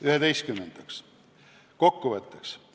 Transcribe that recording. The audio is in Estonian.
Üheteistkümnendaks ehk kokkuvõtteks.